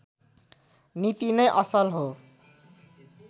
नीति नै असल हो